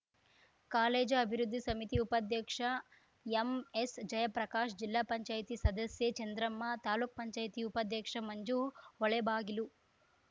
college ಅಭಿವೃದ್ಧಿ ಸಮಿತಿ ಉಪಾಧ್ಯಕ್ಷ ಎಂಎಸ್‌ ಜಯಪ್ರಕಾಶ್‌ ಜಿಲ್ಲಾ ಪಂಚಾಯತಿ ಸದಸ್ಯೆ ಚಂದ್ರಮ್ಮ ತಾಲೂಕು ಪಂಚಾಯತಿ ಉಪಾಧ್ಯಕ್ಷ ಮಂಜು ಹೊಳೆಬಾಗಿಲು